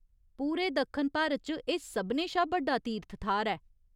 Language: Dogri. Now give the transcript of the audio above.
पूरे दक्खन भारत च एह् सभनें शा बड्डा तीर्थ थाह्‌र ऐ।